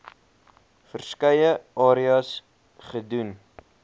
verskeie areas gedoen